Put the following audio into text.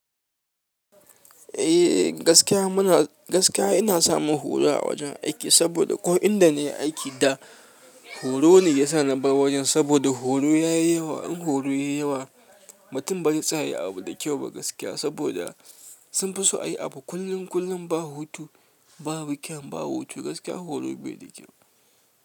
Eh gaskiya muna, gaskiya ina samun horo a wajen aiki saboda ko inda na yi aiki da horo ne yasa na bar wajen saboda horo ya yi yawa. In horo ya yi yawa, mutum ba zai tsaya ya yi abu da kyau ba gaskiya saboda sun fi so a yi abu kullum kullum ba hutu, babu kyan, ba hutu gaskiya horo bai da kyau.